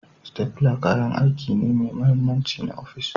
Stapler kayan aiki ne mai mahimmanci na ofis